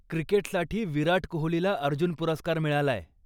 क्रिकेटसाठी विराट कोहलीला अर्जुन पुरस्कार मिळालाय.